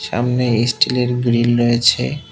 সামনে স্টিলের গ্রিল রয়েছে।